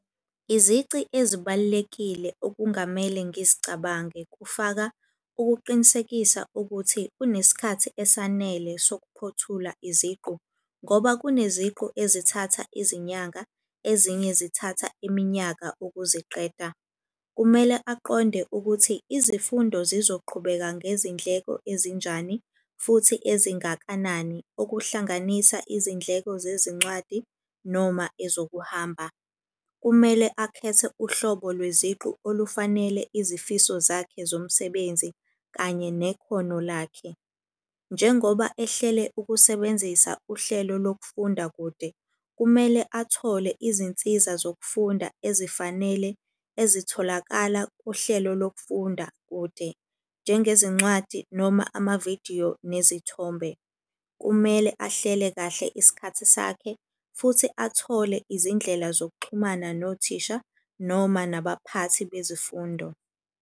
Izici ezibalulekile okungamele ngizicabange kufaka ukuqinisekisa ukuthi unesikhathi esanele sokuphothula iziqu, ngoba kuneziqu ezithatha izinyanga ezinye zithatha iminyaka ukuziqeda. Kumele aqonde ukuthi izifundo sizoqhubeka ngezindleko ezinjani futhi ezingakanani, okuhlanganisa izindleko zezincwadi noma ezokuhamba. Kumele akhethe uhlobo lweziqu olufanele izifiso zakhe zomsebenzi kanye nekhono lakhe. Njengoba ehlele ukusebenzisa uhlelo lokufunda kude, kumele athole izinsiza zokufunda ezifanele ezitholakala kuhlelo lokufunda kude, njengezincwadi noma amavidiyo nezithombe. Kumele ahlele kahle isikhathi sakhe futhi athole izindlela zokuxhumana nothisha noma nabaphathi bezifundo.